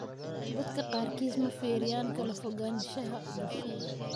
Dadka qaarkiis ma fiiriyaan kala foganshaha bulshada.